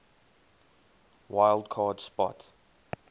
wild card spot